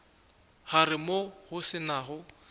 gare moo go se nago